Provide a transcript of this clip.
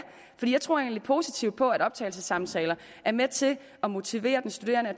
for jeg tror egentlig positivt på at optagelsessamtaler er med til at motivere den studerende og